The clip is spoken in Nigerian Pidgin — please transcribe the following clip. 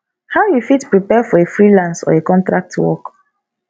how you fit prepare for a freelance or a contract work